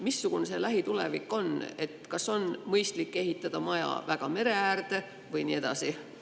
Missugune see lähitulevik on, kas on mõistlik maja väga mere äärde ehitada, ja nii edasi?